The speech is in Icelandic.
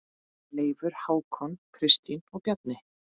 Leifur, Hákon, Kristín og Bjarni.